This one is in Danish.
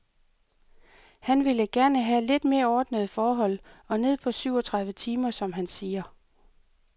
Han ville gerne have lidt mere ordnede forhold, og ned på syv og tredive timer, som han siger.